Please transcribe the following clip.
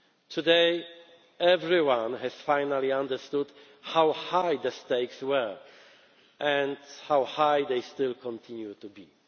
Today, everyone has finally understood how high the stakes were, and how high they still continue